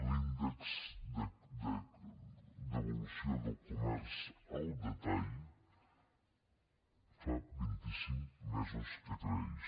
l’índex d’evolució del comerç al detall fa vint i cinc mesos que creix